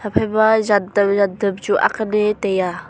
phai ma jantam jantam chu akhan ne taiya.